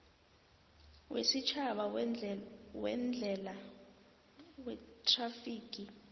wesitjhaba weendlela wethrafigi